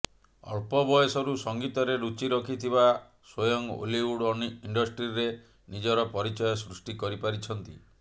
ଅଳ୍ପ ବୟସରୁ ସଙ୍ଗୀତରେ ରୁଚି ରଖିଥିବା ସ୍ୱୟଂ ଓଲିଉଡ ଇଣ୍ଡଷ୍ଟ୍ରୀରେ ନିଜର ପରିଚୟ ସୃଷ୍ଟି କରିପାରିଛନ୍ତି